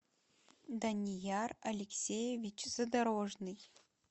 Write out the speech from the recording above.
данияр алексеевич задорожный